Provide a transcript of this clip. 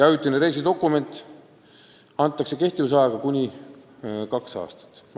Ajutine reisidokument antakse kehtivusajaga kuni kaks aastat.